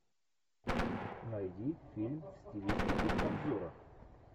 найди фильм в стилистике обзора